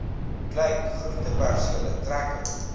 klein groentepersele trekker